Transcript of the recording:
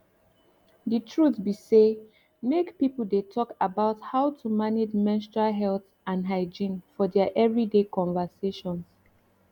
the truth be say make people dey talk about how to manage menstrual health and hygiene for their every day conversations